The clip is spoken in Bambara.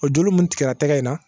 O joli mun tigɛra tɛgɛ in na